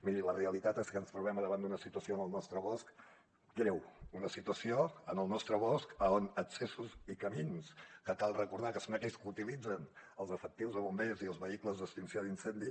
miri la realitat és que ens trobem al davant d’una situació en el nostre bosc greu una situació en el nostre bosc on accessos i camins que cal recordar que són aquells que utilitzen els efectius de bombers i els vehicles d’extinció d’incendis